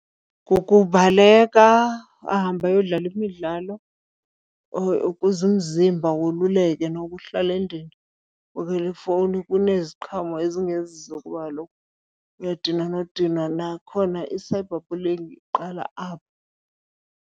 Kukubaleka ahambe ayodlala imidlalo ukuze umzimba woluleke. Nokuhlala endlini ubukele ifowuni kuneziqhamo ezingezizo kuba kaloku uyadinwa nodinwa, nakhona i-cyberbullying iqala apho.